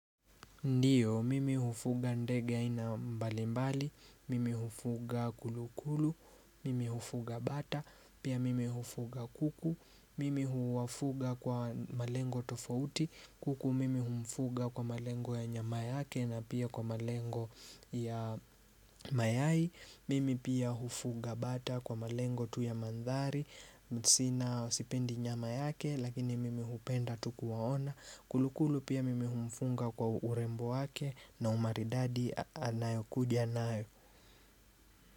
Ndiyo, mimi hufuga ndege aina mbalimbali, mimi hufuga kulukulu, mimi hufuga bata, pia mimi hufuga kuku, mimi huwafuga kwa malengo tofauti, kuku mimi humfuga kwa malengo ya nyama yake na pia kwa malengo ya mayai Mimi pia hufuga bata kwa malengo tu ya manthari Sina sipendi nyama yake lakini mimi hupenda tu kuwaona Kulukulu pia mimi humfunga kwa urembo wake na umaridadi anayokuja nayo.